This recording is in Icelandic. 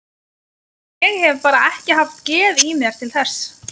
Ég hef bara ekki haft geð í mér til þess.